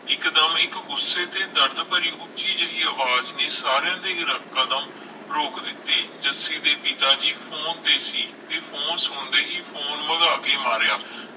ਇਕ ਦਮ ਇਕ ਗੁੱਸੇ ਦੀ ਦਰਦ ਭਰੀ ਉੱਚੀ ਜਿਹੀ ਅਵਾਜ ਨੇ ਸਾਰਿਆਂ ਦੇ ਕਦਮ ਰੋਕ ਦਿਤੇ ਜੱਸੀ ਦੇ ਪਿਤਾ ਜੀ ਫੋਨ ਤੇ ਸੀ ਤੇ ਫੋਨ ਸੁਣਦੇ ਹੀ ਫੋਨ ਵਗਾਹ ਕੇ ਮਾਰਿਆ